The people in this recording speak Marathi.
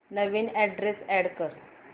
नवीन अॅड्रेस अॅड कर